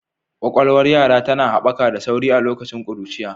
Ƙwaƙwalwar yara tana haɓaka da sauri a lokacin ƙuruciya.